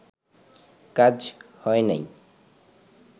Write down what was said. কাজ হয় নাই